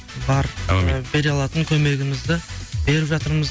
бар аумин і бере алатын көмегімізді беріп жатырмыз